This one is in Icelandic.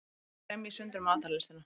Kremji sundur matarlystina.